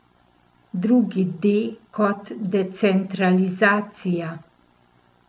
Drugi D kot decentralizacija.